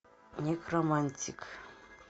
некромантик